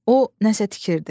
O nəsə tikirdi.